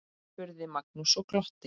spurði Magnús og glotti.